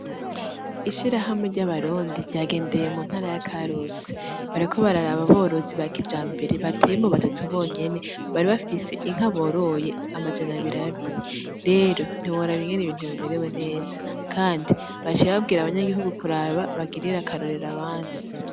Ishirahamwe ry'abarundi, ryagendeye muntara yakarusi, bariko bararaba aborozi bakijmbere batoyemwo batatu bonyene, bari bafise inka boroye amajana abir'abiri, rero ntiworaba ingene ibintu bimerewe neza, kandi baciye bambwira abanyagihugu kuraba bagirire akarorero abandi.